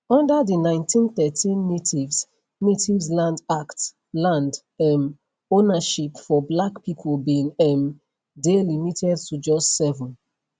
under di 1913 natives natives land act land um ownership for black pipo bin um dey limited to just 7